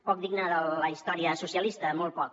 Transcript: poc digne de la història socialista molt poc